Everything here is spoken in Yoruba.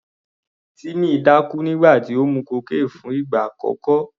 Timmy dákú nígbà tó mu cocaine fún ìgbà àkọ́kọ́.